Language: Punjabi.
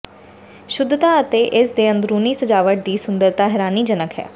ਸ਼ੁੱਧਤਾ ਅਤੇ ਇਸ ਦੇ ਅੰਦਰੂਨੀ ਸਜਾਵਟ ਦੀ ਸੁੰਦਰਤਾ ਹੈਰਾਨੀਜਨਕ ਹੈ